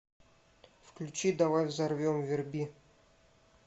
включи давай взорвем верби